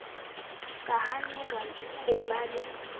ka hanelwang ho ba le